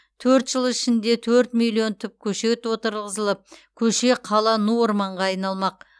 төрт жыл ішінде төрт миллион түп көшет отырғызылып көше қала ну орманға айналмақ